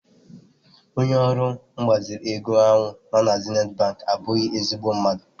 Onye ọrụ mgbazinye ego ahụ nọ na Zenith bank abụghị ezigbo mmadụ.